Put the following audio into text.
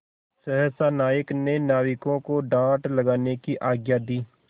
सहसा नायक ने नाविकों को डाँड लगाने की आज्ञा दी